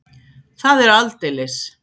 Það er aldeilis!